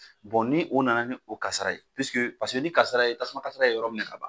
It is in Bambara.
Bɔn ni o nana ni o karasa ye pisike paseke ni karasa ye tasuma kasara ye yɔrɔ minɛ ka ban